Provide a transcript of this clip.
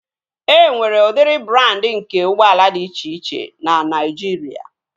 E nwere udiri brandị nke ụgbọala dị iche iche na Naijiria